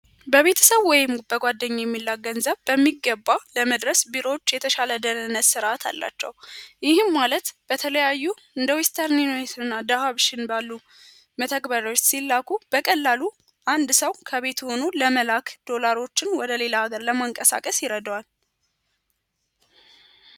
በቤተስብ ወይም በጓደኛ የሚላክ ገንዘብ በሚገባ ለመድረስ ቢሮች የተሻለ ደህንነት ሥርዓት አላቸው። ይህም ማለት በተለያዩ እንደ ዌስተር እና ዳህሽን ባሉ መተግበሪዎች ሲላኩ በቀላሉ አንድ ሰው ከቤት ሆኖ ለመላክ ዶላሮችን ወደ ሌላ አገር ለማንቀሳቀስ ይረደዋል።